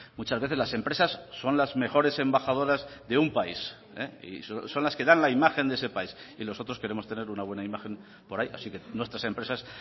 muchas veces las empresas son las mejores embajadoras de un país y son las que dan la imagen de ese país y nosotros queremos tener una buena imagen por ahí así que nuestras empresas